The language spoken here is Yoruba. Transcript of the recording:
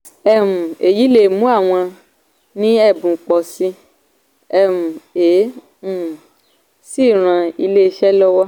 um èyí lè mú àwọn ní ẹ̀bùn pọ̀ sí i um è è um sì ran iléeṣẹ́ lọ́wọ́.